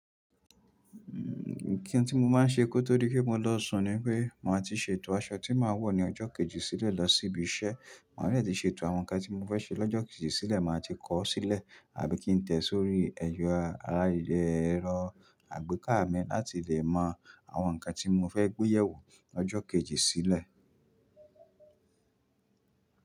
Nn, ti n tí mo máa ń ṣe kó tó di pé mo lọ́ sùn ni pé màá ti ṣètò aṣọ tí màá wọ̀ ní ọjọ́ kejì sílẹ̀ lọ sí ibi iṣẹ́. Màá dè tí ṣètò àwọn ǹkan tí mo fẹ́ ṣe lọ́jọ́ kejì sílẹ̀, màá ti kọ̀ ọ́ sílẹ̀ àbí kí n tẹ̀ ẹ́ sórí ẹ̀yọ aráyé ẹrọ àgbékà mi láti lè mọ àwọn ǹkan tí mo fẹ́ gbé yẹ̀wò lọjọ́ kejì sílẹ̀.